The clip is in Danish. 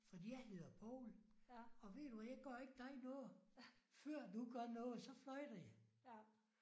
Fordi jeg hedder Poul og ved du hvad jeg gør ikke dig noget før du gør noget. Så fløjter jeg